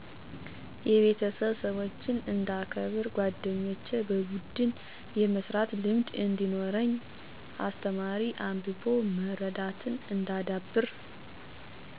የቤተሰብ -ሠወችን እንዳከበር ጓደኞቼ -በቡድን የመስራት ልምድ እዲኖረኝ አስተማሪ-አንብቦ መረዳትን እንዳዳብር